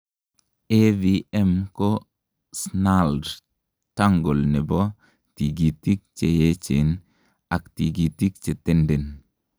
AVM ko snarled tangle nebo tikitik cheyechen ak tikitik chetenden.